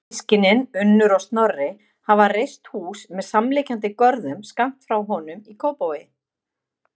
Systkinin, Unnur og Snorri, hafa reist hús með samliggjandi görðum skammt frá honum í Kópavogi.